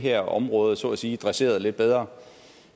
her område så at sige dresseret lidt bedre